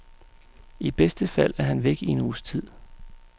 I bedste fald er han væk i en uges tid.